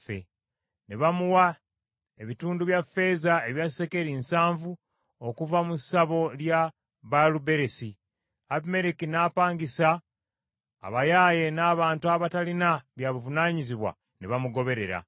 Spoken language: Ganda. Ne bamuwa ebitundu bya ffeeza ebya sekeri nsanvu okuva mu ssabo lya Baaluberisi. Abimereki n’apangisa abayaaye n’abantu abataalina bya buvunaanyizibwa ne bamugoberera.